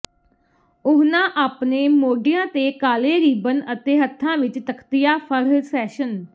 ਉਹਨਾਂ ਆਪਣੇ ਮੋਢਿਆਂ ਤੇ ਕਾਲੇ ਰੀਬਨ ਅਤੇ ਹੱਥਾਂ ਵਿੱਚ ਤਖਤੀਆ ਫੜ੍ਹ ਸੈਸ਼ਨ